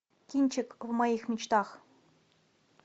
кинчик в моих мечтах